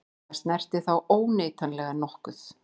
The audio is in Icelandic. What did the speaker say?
Það snertir þá óneitanlega nokkuð.